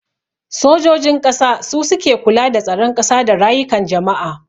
Sojojin ƙasa su suke kula da tsaron ƙasa da rayukan jama'a